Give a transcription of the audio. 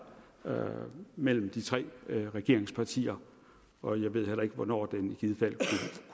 mellem de tre regeringspartier og jeg ved heller ikke hvornår den i givet fald